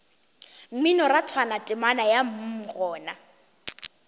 mminorathwana temana ya mm gona